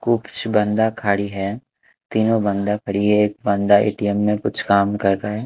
कुछ बांदा खड़ी है तीनों बांदा खड़ी हैं एक बंदा ए_टी_एम में कुछ काम कर रहा--